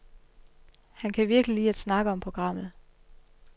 Han kan virkelig lide at snakke om programmet.